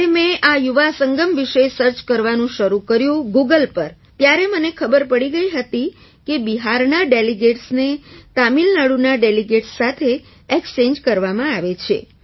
જ્યારે મેં આ યુવા સંગમ વિશે સર્ચ કરવાનું શરૂ કર્યું ગૂગલ પર ત્યારે મને ખબર પડી ગઈ હતી કે બિહારના delegatesને તમિલનાડુના ડેલિગેટ્સ સાથે ઍક્સ્ચૅન્જ કરવામાં આવે છે